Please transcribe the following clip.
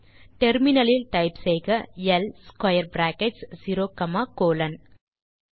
terminal லில் type செய்க ல் ஸ்க்வேர் பிராக்கெட்ஸ் 0 காமா கோலோன்